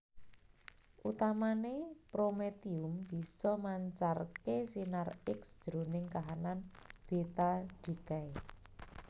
Utamané prometium bisa mancarké sinar X jroning kahanan beta decay